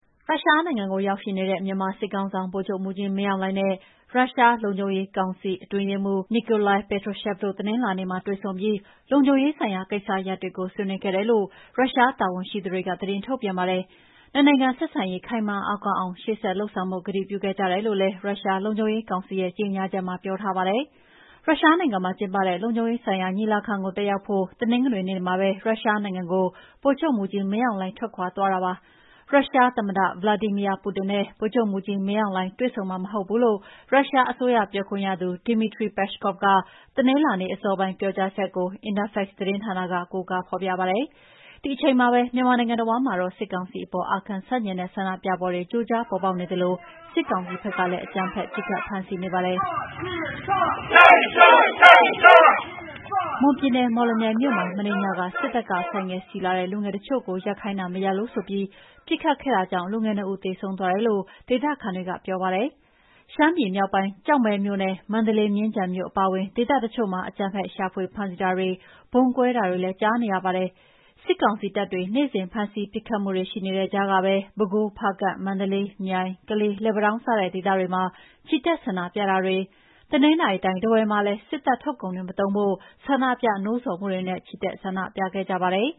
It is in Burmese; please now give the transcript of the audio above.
ရုရှားနိုင်ငံကိုရောက်ရှိနေတဲ့ မြန်မာစစ်ခေါင်းဆောင် ဗိုလ်ချုပ်မှူးကြီးမင်းအောင်လှိုင်နဲ့ ရုရှားလုံခြုံရေးကောင်စီ အတွင်းရေးမှုး Nikolai Patrushev တို့ တနင်္လာနေ့မှာ တွေ့ဆုံပြီး လုံခြုံရေးဆိုင်ရာကိစ္စရပ်တွေကို ဆွေးနွေးခဲ့တယ်လို့ ရုရှားတာဝန်ရှိသူတွေက သတင်းထုတ်ပြန်ပါတယ်။ နှစ်နိုင်ငံ ဆက်ဆံရေး ခိုင်မာအားကောင်းအောင် ရှေ့ဆက်လုပ်ဆောင်ဖို့ ကတိပြုခဲ့ကြတယ်လို့လည်း ရုရှားလုံခြုံရေးကောင်စီရဲ့ ကြေငြာချက်မှာ ပြောထားပါတယ်။ ရုရှားနိုင်ငံမှာကျင်းပတဲ့လုံခြုံရေးဆိုင်ရာညီလာခံကိုတက်ရောက်ဖို့ တနင်္ဂနွေနေ့မှာပဲ ရုရှားနိုင်ငံကို ဗိုလ်ချုပ်မှူးကြီးမင်းအောင်လှိုင်ထွက်ခွါသွားတာပါ။ ရုရှားသမ္မတ ဗလာဒီမီယာပူတင်နဲ့ ဗိုလ်ချုပ်မှူးကြီးမင်းအောင်လှိုင်တွေ့ဆုံမှာမဟုတ်ဘူးလို့ ရုရှားအစိုးရပြောခွင့်ရသူ Dmitry Peskov က တနင်္လာနေ့အစောပိုင်းက ပြောကြားချက်ကို Interfax သတင်းဌာနက ကိုးကား ဖော်ပြပါတယ်။ ဒီအချိန်မှာပဲ မြန်မာနိုင်ငံတဝှမ်းမှာတော့ စစ်ကောင်စီအပေါ် အာခံဆန့်ကျင်တဲ့ဆန္ဒပြပွဲတွေ ကြိုကြားပေါ်ပေါက်နေသလို စစ်ကောင်စီဖက်ကလည်း အကြမ်းဖက် ပစ်ခတ်ဖမ်းဆီးနေပါတယ်။ မွန်ပြည်နယ်၊ မော်လမြိုင်မြို့မှာ မနေ့ညက စစ်တပ်က ဆိုင်ကယ်စီးလာတဲ့လူငယ် တချို့ကိုရပ်ခိုင်းတာ မရပ်လို့ဆိုပြီး ပစ်ခတ်ခဲ့တာကြောင့်လူင်၂ ဦးသေဆုံးသွားတယ်လို့ ဒေသခံတွေကပြောပါတယ်။ ရှမ်းပြည်မြောက်ပိုင်း၊ ကျောက်မဲမြို့နဲ့ မန္တလေး၊ မြင်းခြံမြို့အပါအဝင် ဒေသတချို့မှာ အကြမ်းဖက် ရှာဖွေဖမ်းဆီးတာတွေ၊ ဗုံးကွဲတာတွေလည်း ကြာေးနရပါတယ်။ စစ်ကောင်စီတပ်တွေ နေ့စဉ်ဖမ်းဆီးမှု ပစ်ခတ်မှုတွေ ရှိနေတဲ့ ကြားကပဲ ပဲခူး၊ ဖားကန့်၊ မန္တလေး၊ မြိုင်၊ ကလေး၊ လက်ပံတောင်း စတဲ့ ဒေသတွေမှာ ချီတက်ဆန္ဒပြတာတွေ၊ တနင်္သာတိုင်း ထားဝယ်မှာလည်း စစ်တပ်ထုတ်ကုန်တွေမသုံးကြဖို့ ဆန္ဒပြနှိုးဆော်မှုတွေနဲ့ ချီတက် ဆန္ဒပြခဲ့ပါတယ်